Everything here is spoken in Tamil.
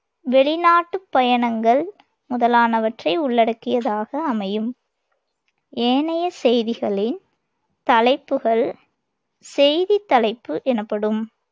வெளிநாட்டுப் பயணங்கள் முதலானவற்றை உள்ளடக்கியதாக அமையும். ஏனைய செய்திகளின் தலைப்புகள் செய்தித் தலைப்பு எனப்படும்